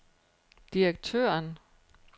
direktøren